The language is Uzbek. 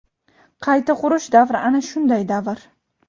qayta qurish davri ana shunday davr.